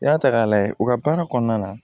I y'a ta k'a lajɛ u ka baara kɔnɔna na